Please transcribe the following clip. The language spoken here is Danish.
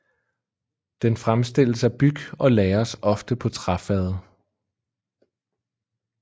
Den fremstilles af byg og lagres ofte på træfade